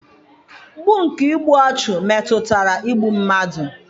Mpụ nke igbu ọchụ metụtara igbu mmadụ.